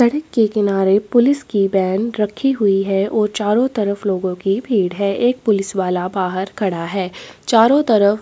सड़क के किनारे पुलिस की वैन रखी हुई है और चारों तरफ लोगों की भीड़ है एक पुलिस वाला बाहर खड़ा है चारों तरफ--